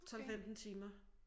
12 15 timer